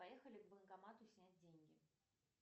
поехали к банкомату снять деньги